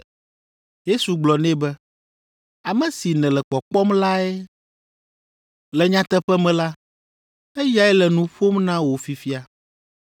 Yesu gblɔ nɛ be, “Ame si nèle kpɔkpɔm lae. Le nyateƒe me la, eyae le nu ƒom na wò fifia.”